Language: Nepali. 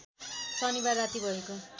शनिबार राति भएको